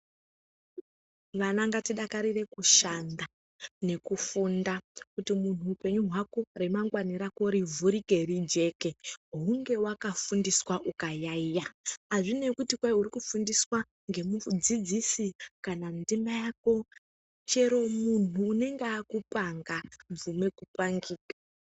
Vana ngatidakarire kushanda, nekufunda. Kuti munhu upenyu hwako, remangwani rako rivhurike rijeke, hunge wakafundiswa ukayaiya. Azvinei kuti kwai uri kufundiswa ngemudzidzisi kana ndimai ako, chero munhu unenge akupanga, bvume kupangika.